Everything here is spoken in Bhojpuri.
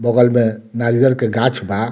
बगल में नारियल के गाछ बा।